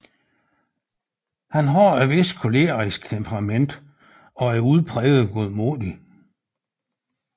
Han har et vist kolerisk temperament og er udpræget godmodig